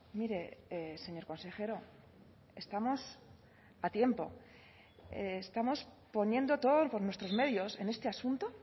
mire señor consejero estamos a tiempo estamos poniendo todos por nuestros medios en este asunto